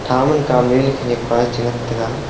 tha man kamley ley khanak pa chi ngantaga.